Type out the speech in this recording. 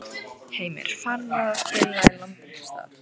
Heimir: Farið að grilla í land einhvers staðar?